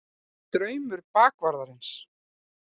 DRAUMUR BAKVARÐARINS.